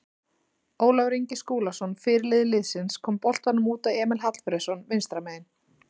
Ólafur Ingi Skúlason fyrirliði liðsins kom boltanum út á Emil Hallfreðsson vinstra megin.